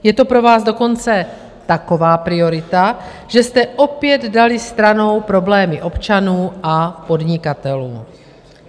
Je to pro vás dokonce taková priorita, že jste opět dali stranou problémy občanů a podnikatelů.